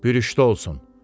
Bürüşdə olsun.